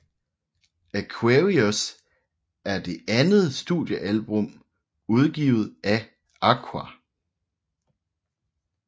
Aquarius er det andet studiealbum udgivet af Aqua